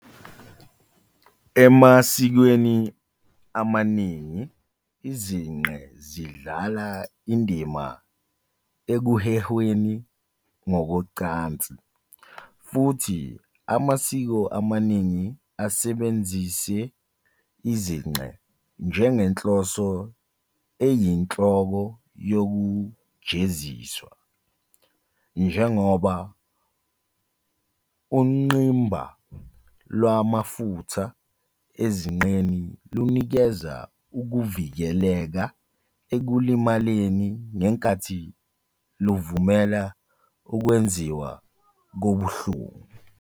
Emasikweni amaningi, izinqe zidlala indima ekuhehweni ngokocansi, futhi amasiko amaningi asebenzise izinqe njengenhloso eyinhloko yokujeziswa, njengoba ungqimba lwamafutha ezinqeni lunikeza ukuvikeleka ekulimaleni ngenkathi luvumela ukwenziwa kobuhlungu.